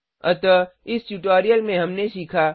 अतः इस ट्यूटोरियल में हमने सीखा